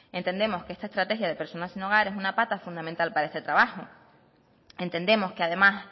entendemos que esta estrategia de personas sin hogar es una pata fundamental para este trabajo entendemos que además